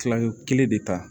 Kilalen kelen de ta